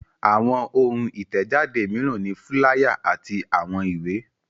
Àwọn ohun ìtẹ̀jáde mìíràn ni fúláyà àti àwọn ìwé.